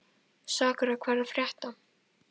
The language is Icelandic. Sakura, hvað er að frétta?